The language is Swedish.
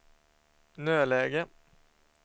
nödläge